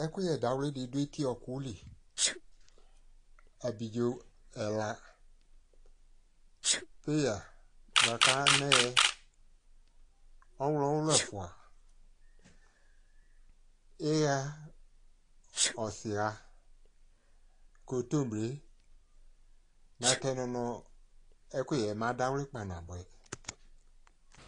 ɛkuyɛ dawli di do eti ɔku li abidzo ɛla, peya boa ko anɛ, ɔwlɔ wulu ɛfua, iɣa ɔsi ɣa, kontomire, natɛ no moa ɛkuyɛ ba do awli kpanaboɛ